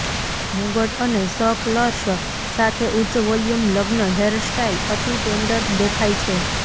મુગટ અને સ કર્લ્સ સાથે ઉચ્ચ વોલ્યુમ લગ્ન હેરસ્ટાઇલ અતિ ટેન્ડર દેખાય છે